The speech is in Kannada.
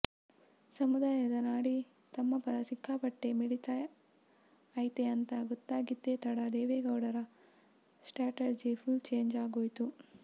ಸಮುದಾಯದ ನಾಡಿ ತಮ್ಮ ಪರ ಸಿಕ್ಕಾಪಟ್ಟೆ ಮಿಡಿತಾ ಐತೆ ಅಂತ ಗೊತ್ತಾಗಿದ್ದೇ ತಡ ದೇವೇಗೌಡರ ಸ್ಟ್ಯಾಟರ್ಜಿ ಫುಲ್ ಚೇಂಜ್ ಆಗೋಯ್ತು